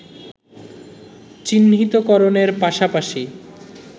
চিহ্নিতকরণের পাশাপাশি